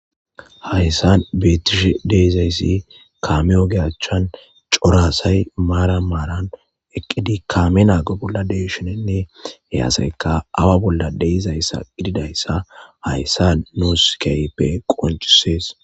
hayssan beetishe de7izayssi kaame oge achan cora asay maaran maaran eqqidi kaame naago bolla de7ishininne he aseyka awa bolla de7izayssa gididayssa hayssan nuus kehipe qoncisees